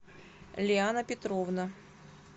лиана петровна